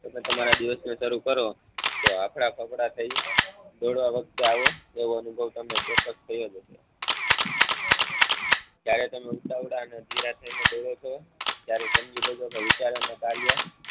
તમે તમારા દિવસ ને શરૂ કરો તો હાંફળા ફાફડા થઈ દોડવા વખતે આવો તેવો અનુભવ તમને ચોક્કસ થયો જ હશે ત્યારે તમે ઉતાવળા અને અધીરા થઈ ને દોડો છો ત્યારે સમજી લેજો કે વિચાર અને કાર્ય